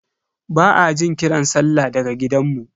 Ba a jin kiran sallah daga gidanmu.